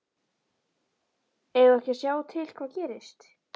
Eigum við ekki að sjá til hvað gerist?